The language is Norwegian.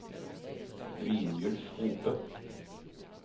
Brynjulf Hope